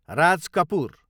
Raj Kapoor